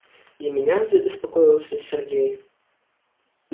и меня забеспокоился сергей